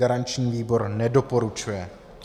Garanční výbor nedoporučuje.